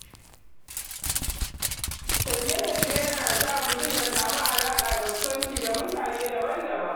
Tafiye-tafiye ya na sa mutum ya samu alaƙa da kusanci da mutane daban-daban.